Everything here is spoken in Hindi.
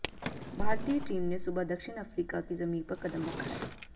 भारतीय टीम ने सुबह दक्षिण अफ्रीका की जमीं पर कदम रखा है